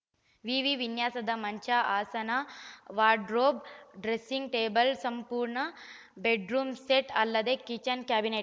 ವಿವಿ ವಿನ್ಯಾಸದ ಮಂಚ ಆಸನ ವಾರ್ಡ್‌ರೋಬ್‌ ಡ್ರೆಸ್ಸಿಂಗ್‌ ಟೇಬಲ್‌ ಸಂಪೂರ್ಣ ಬೆಡ್‌ರೂಮ್‌ ಸೆಟ್‌ ಅಲ್ಲದೆ ಕಿಚನ್‌ ಕ್ಯಾಬಿನೆಟ್‌